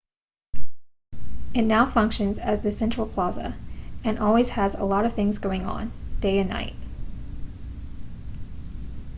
it now functions as the central plaza and always has a lot of things going on day and night